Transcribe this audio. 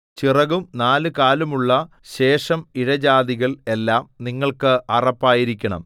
ചിറകും നാലുകാലുമുള്ള ശേഷം ഇഴജാതികൾ എല്ലാം നിങ്ങൾക്ക് അറപ്പായിരിക്കണം